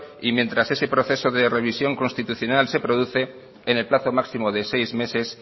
y mientras ese proceso de revisión constitucional se produce en el plazo máximo de seis meses